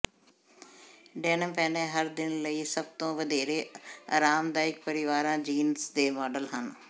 denim ਪਹਿਨੇ ਹਰ ਦਿਨ ਲਈ ਸਭ ਤੋਂ ਵਧੇਰੇ ਆਰਾਮਦਾਇਕ ਪਹਿਰਾਵਾ ਜੀਨਸ ਦੇ ਮਾਡਲ ਹਨ